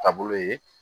Taabolo ye